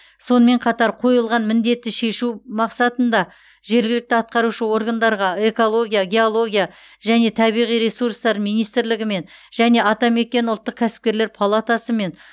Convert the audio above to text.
сонымен қатар қойылған міндетті шешу мақсатында жергілікті атқарушы органдарға экология геология және табиғи ресурстар министрлігімен және атамекен ұлттық кәсіпкерлер палатасымен